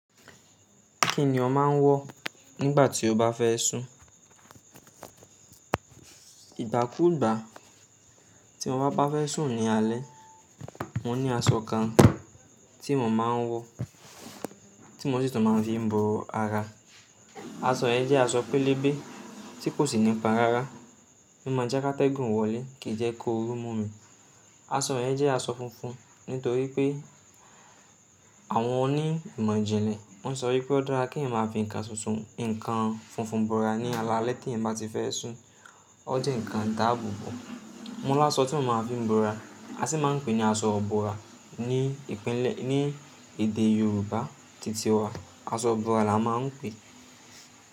Kí ni ọ máa ń wọ̀ nígbà tí o bá fẹ́ sùn? Ìgbà kúùgbà tí mo bá fẹ́ sùn ní alẹ́, mo ní aṣọ kan tí mo máa ń wọ̀, tí mo sì tún máa ń fi bọ́ra. Aṣọ yẹn jẹ́ aṣọ pélébé tí kò sì nípon rárá. O máa jẹ́ ká tẹ́gùn wọlé, kì jẹ́ kóorú mú mi. Aṣọ yẹn jẹ́ aṣọ funfun nítorí pé àwọn onímọ̀jìnlẹ̀ wọ́n sọ wípé ó dára kí ẹ̀ máa fiǹ nkan tuntun, nkan funfun bọ́ra ní alaalẹ́ tí ẹ̀yan bá ti fẹ́ sùn. Ó jẹ́ ǹkan idaabo bo Mo ní aṣọ tí mo máa ń fi bọ́ra. A sì máa ń pè é ní aṣọ ìbọ́ra ní ìpínlẹ̀-- ní èdè Yorùbá titi wa. Aṣọ ìbọ́ra la máa ń pè é.